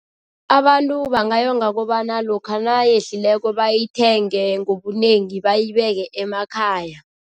Abantu bangayonga kobana lokha nayehlileko bayithenge ngobunengi bayibeke emakhaya.